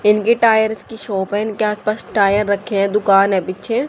इनके टायर्स की शॉप है इनके आस पास टायर रखे हैं दुकान है पीछे।